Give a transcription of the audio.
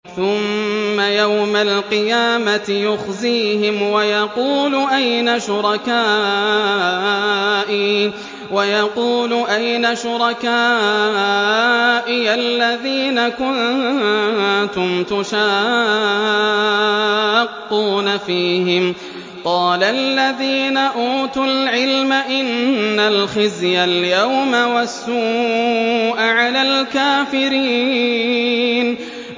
ثُمَّ يَوْمَ الْقِيَامَةِ يُخْزِيهِمْ وَيَقُولُ أَيْنَ شُرَكَائِيَ الَّذِينَ كُنتُمْ تُشَاقُّونَ فِيهِمْ ۚ قَالَ الَّذِينَ أُوتُوا الْعِلْمَ إِنَّ الْخِزْيَ الْيَوْمَ وَالسُّوءَ عَلَى الْكَافِرِينَ